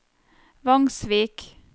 Vangsvik